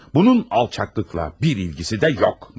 Bunun alçaqlıqla bir ilgisi də yox.